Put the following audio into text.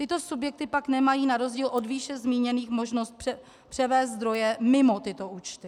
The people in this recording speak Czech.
Tyto subjekty pak nemají na rozdíl od výše zmíněných možnost převést zdroje mimo tyto účty.